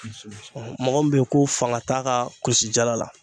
mɔgɔ min bɛ yen ko fanga t'a ka kulisi jala la